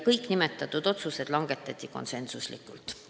Kõik otsused langetati konsensusega.